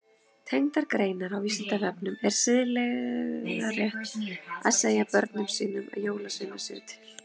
Tengdar greinar á Vísindavefnum Er siðferðilega rétt að segja börnum sínum að jólasveinar séu til?